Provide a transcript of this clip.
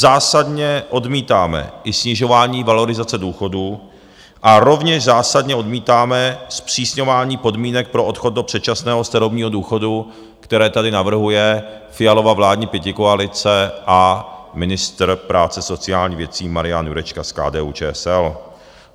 Zásadně odmítáme i snižování valorizace důchodů a rovněž zásadně odmítáme zpřísňování podmínek pro odchod do předčasného starobního důchodu, které tady navrhuje Fialova vládní pětikoalice a ministr práce sociálních věcí Marian Jurečka z KDU-ČSL.